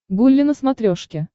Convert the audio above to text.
гулли на смотрешке